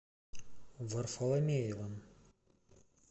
варфоломеевым